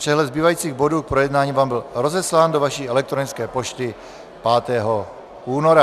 Přehled zbývajících bodů k projednání vám byl rozeslán do vaší elektronické pošty 5. února.